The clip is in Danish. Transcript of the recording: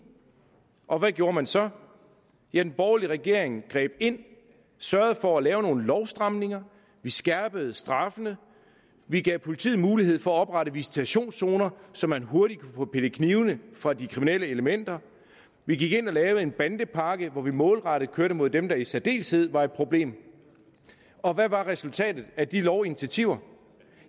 og hvad gjorde man så ja den borgerlige regering greb ind og sørgede for at lave nogle lovstramninger vi skærpede straffene vi gav politiet mulighed for at oprette visitationszoner så man hurtigt kunne få pillet knivene fra de kriminelle elementer vi gik ind og lavede en bandepakke hvor vi målrettet kørte mod dem der i særdeleshed var et problem og hvad var resultatet af de lovinitiativer